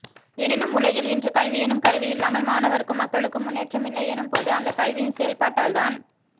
எனினும் உலகில் இன்று கல்வி எனும் கருவியில்லாமல் மாணவா்க்கும் மக்களுக்கும் முன்னேற்றமில்லை எனும் போது அந்த கல்வியின் செயல்பாட்டால்தான்